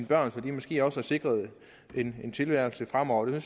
børn så de måske også er sikret en tilværelse fremover det